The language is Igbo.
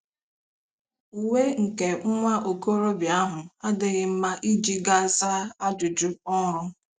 Uwe nke nwa okorobịa ahụ adịghị mma iji gaa zaa ajụjụ ọrụ.